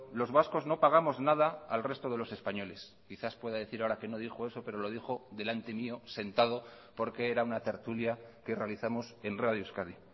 los vascos no pagamos nada al resto de los españoles quizás pueda decir ahora que no dijo eso pero lo dijo delante mío sentado porque era una tertulia que realizamos en radio euskadi